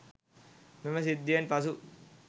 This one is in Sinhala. මෙම සිද්ධියෙන් පසු